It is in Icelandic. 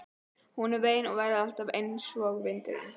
Hún er ein og verður alltaf ein einsog vindurinn.